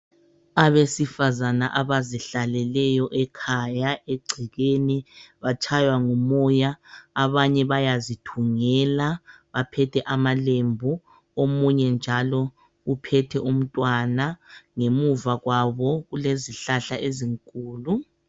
Abesifazana abazihlaleleyo ekhaya egcekeni batshaywa ngumoya abanye bayazithungela baphethe amalembu, omunye njalo uphethe umntwana ,ngemuva kwabo kulezihlahla ezinkulu.